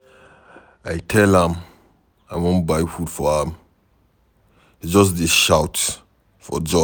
I tell am I wan buy food for am ,she just dey shout for joy.